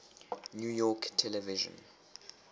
new york television